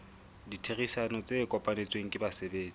ditherisano tse kopanetsweng ke basebetsi